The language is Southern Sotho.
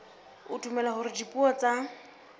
o dumela hore dipuo tsa